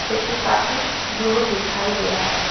जो कि काफी दूर दिखाई दे रहा है।